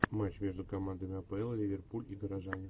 матч между командами апл ливерпуль и горожане